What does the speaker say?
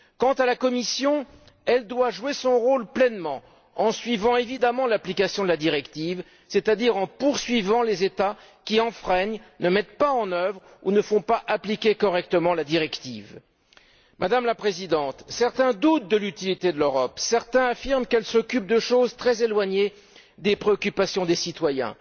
Quant à la Commission, elle doit jouer son rôle pleinement, en suivant évidemment l'application de la directive, c'est à dire en poursuivant les États qui enfreignent cette directive, qui ne la mettent pas en œuvre ou qui ne la font pas appliquer correctement. Madame la Présidente, certains doutent de l'utilité de l'Europe, certains affirment qu'elle s'occupe de choses très éloignées des préoccupations des citoyens.